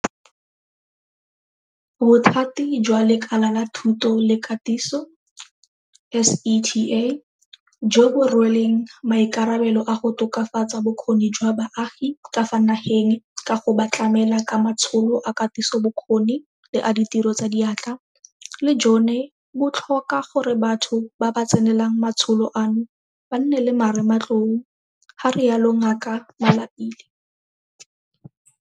Bothati jwa Lekala la Thuto le Katiso SETA, jo bo rweleng maikarabelo a go tokafatsa bokgoni jwa baagi ka fa nageng ka go ba tlamela ka matsholo a katisobokgoni le a ditiro tsa diatla, le jone bo tlhoka gore batho ba ba tsenelang matsholo ano ba nne le marematlou, ga rialo Ngaka Malapile.